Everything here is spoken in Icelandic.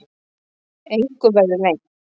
Engu verði leynt.